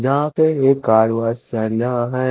जहां पे ये कार वॉश सेन्या हैं।